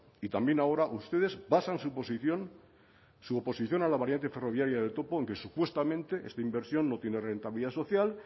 y también ahora ustedes basan su posición su oposición a la variante ferroviaria del topo en que supuestamente esta inversión no tiene rentabilidad social